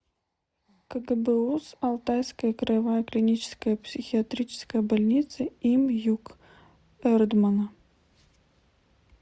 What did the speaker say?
кгбуз алтайская краевая клиническая психиатрическая больница им юк эрдмана